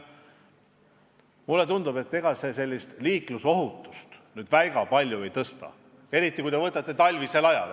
Mulle tundub, et see liiklusohutust väga palju ei suurenda, eriti talvisel ajal.